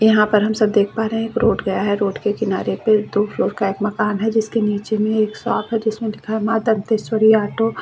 यहाँ पर हम सब देख पा रहे हैं एक रोड गया है रोड के किनारे पे दो फ्लोर का एक मकान है जिसके नीचे में एक शॉप है जिसमें लिखा है माँ दंतेश्वरी ऑटो --